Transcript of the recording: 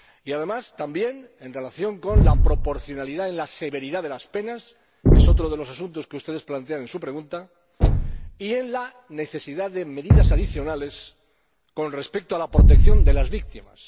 Además, también, en relación con la proporcionalidad en la severidad de las penas es otro de los asuntos que ustedes plantean en su pregunta y en la necesidad de medidas adicionales con respecto a la protección de las víctimas.